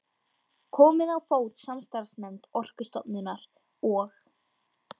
Komið á fót samstarfsnefnd Orkustofnunar og